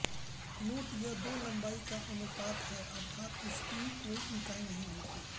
note यह दो लंबाई का अनुपात हैं अर्थात इसकी कोई इकाई नहीं होती हैं